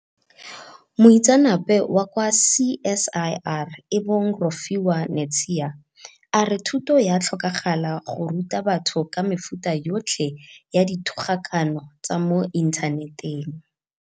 Moitseanape wa kwa CSIR e bong Rofhiwa Netshiya a re thuto ya tlhokagala go ruta batho ka mefuta yotlhe ya dithogakano tsa mo inthaneteng.